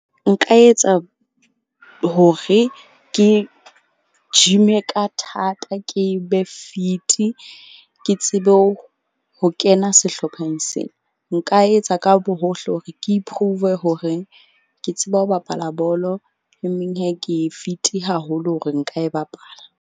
Nka etsa hore ke gym-e ka thata, ke be fit-i. Ke tsebe ho kena sehlopheng sena, nka etsa ka bohohle hore ke iprove horeng ke tseba ho bapala bolo. Emeng ke fit-i haholo hore nka e bapala.